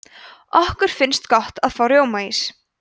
okkur finnst gott að fá rjómaís